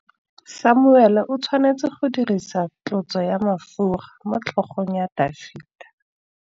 Samuele o tshwanetse go dirisa tlotsô ya mafura motlhôgong ya Dafita.